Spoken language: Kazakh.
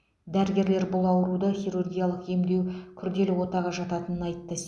дәрігерлер бұл ауруды хирургиялық емдеу күрделі отаға жататынын айтты